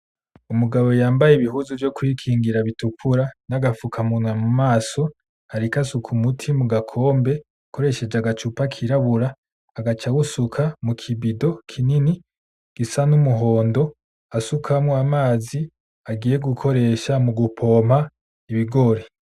Umugabo yambaye ibihuzu vyo kwikingira bitukura n'agafukamunwa mu maso ariko asuka umuti mugakombe akoresheje agacupa kirabura agaca awusuka muki bido kinini gisa n'umuhondo asukamwo amazi agiye gukoresha mugupompa ibigori.